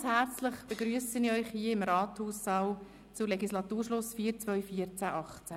Ganz herzlich begrüsse ich Sie im Rathaussaal zur Legislaturschlussfeier 2014– 2018.